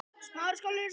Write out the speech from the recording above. Fjóla Benný.